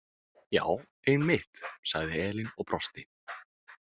Já, einmitt, sagði Elín og brosti.